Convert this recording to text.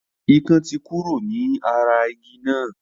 Ikán tí kúrò ní ara igi náà.